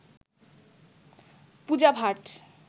Puja Bhatt